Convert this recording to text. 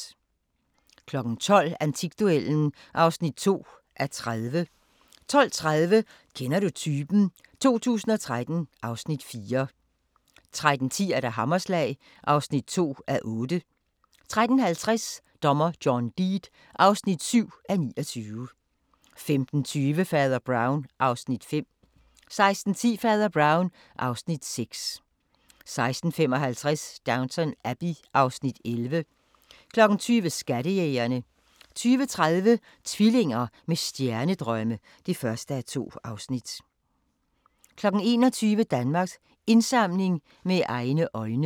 12:00: Antikduellen (2:30) 12:30: Kender du typen? 2013 (Afs. 4) 13:10: Hammerslag (2:8) 13:50: Dommer John Deed (7:29) 15:20: Fader Brown (Afs. 5) 16:10: Fader Brown (Afs. 6) 16:55: Downton Abbey (Afs. 11) 20:00: Skattejægerne 20:30: Tvillinger med stjernedrømme (1:2) 21:00: Danmarks Indsamling – Med egne øjne